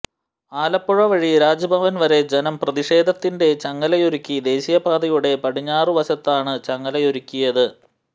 ആലപ്പുഴ വഴി രാജ്ഭവന് വരെ ജനം പ്രതിഷേധത്തിന്റെ ചങ്ങലയൊരുക്കി ദേശീയപാതയുടെ പടിഞ്ഞാറുവശത്താണ് ചങ്ങലയൊരുക്കിയത്